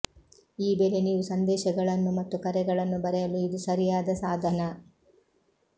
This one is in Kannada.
ಈ ಬೆಲೆ ನೀವು ಸಂದೇಶಗಳನ್ನು ಮತ್ತು ಕರೆಗಳನ್ನು ಬರೆಯಲು ಇದು ಸರಿಯಾದ ಸಾಧನ